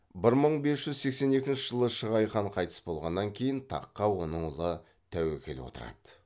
бір мың бес жүз сексен екінші жылы шығай хан қайтыс болғаннан кейін таққа оның ұлы тәуекел отырады